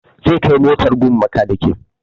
Zai kai motar gun bakaniki